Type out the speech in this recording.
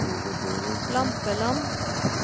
Lampeland